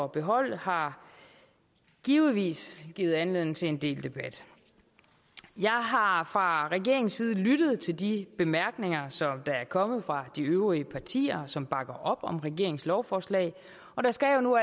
beholde har givetvis givet anledning til en del debat jeg har fra regeringens side lyttet til de bemærkninger der er kommet fra de øvrige partier som bakker op om regeringens lovforslag og der skal jo nu